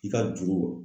I ka juru